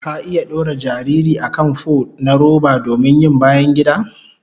Ka iya dora jariri a kan fo na roba domin yin bayangida?